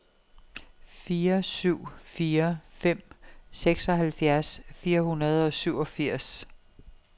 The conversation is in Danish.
fire syv fire fem seksoghalvfjerds fire hundrede og syvogfirs